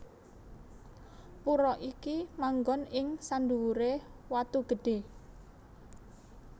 Pura iki manggon ing sandhuwuré watu gedhé